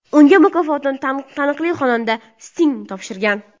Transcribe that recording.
Unga mukofotni taniqli xonanda Sting topshirgan.